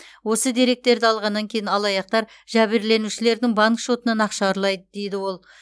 осы деректерді алғаннан кейін алаяқтар жәбірленушілердің банк шотынан ақша ұрлайды дейді ол